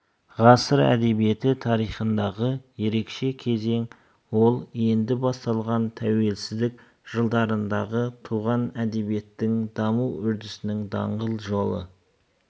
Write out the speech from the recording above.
ғасыр әдебиет тарихындағы ерекше кезең ол енді басталған тәуелсіздік жылдарындағы туған әдебиеттің даму үрдісінің даңғыл жолы